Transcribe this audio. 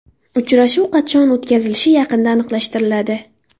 Uchrashuv qachon o‘tkazilishi yaqinda aniqlashtiriladi.